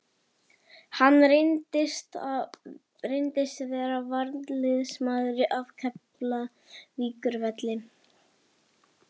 Hann reyndist vera varnarliðsmaður af Keflavíkurvelli.